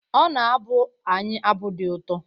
Ọ na-abụ anyị abụ dị ụtọ